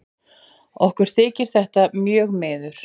Okkur þykir þetta mjög miður.